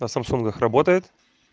на самсунгах работает